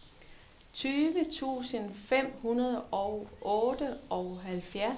tyve tusind fem hundrede og otteoghalvfjerds